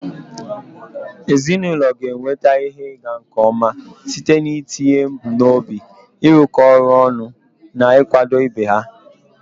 Ezinụlọ ga-enweta ihe ịga nke ọma site n'itinye ebumnobi, ịrụkọ ọrụ ọnụ, na ịkwado ibe ha.